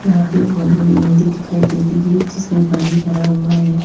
यहां पे एक बहुत बड़ी नदी दिखाई दे रही है जिसमें पानी भरा हुआ है।